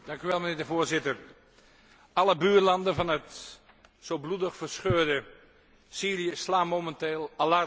Voorzitter, alle buurlanden van het zo bloedig verscheurde Syrië slaan momenteel alarm.